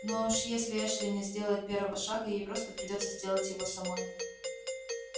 ну а уж если эшли не сделает первого шага ей просто придётся сделать его самой